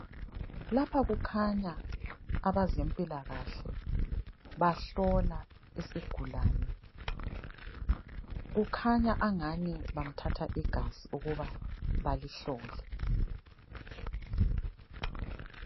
Lapha kukhanya abezempilakahle bahlola isigulane. Kukhanya angani bamthatha igazi ukuba balihlole.